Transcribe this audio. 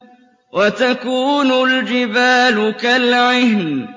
وَتَكُونُ الْجِبَالُ كَالْعِهْنِ